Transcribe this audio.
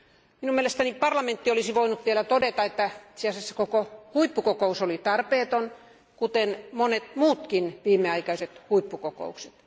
Minun mielestäni parlamentti olisi voinut vielä todeta, että itse asiassa koko huippukokous oli tarpeeton, kuten monet muutkin viimeaikaiset huippukokoukset.